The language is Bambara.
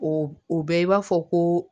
O o bɛɛ b'a fɔ ko